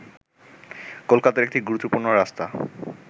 কলকাতার একটি গুরুত্বপূর্ণ রাস্তা